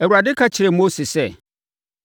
Awurade ka kyerɛɛ Mose sɛ,